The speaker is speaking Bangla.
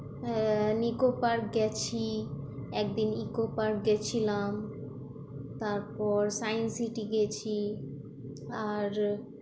হ্যাঁ ইকো পার্ক গেছি একদিন ইকো পার্ক গেছিলাম, তারপর সায়েন্স সিটি গেছি আর